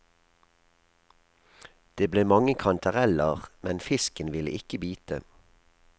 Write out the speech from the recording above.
Det ble mange kantareller, men fisken ville ikke bite.